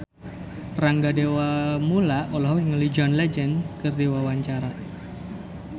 Rangga Dewamoela olohok ningali John Legend keur diwawancara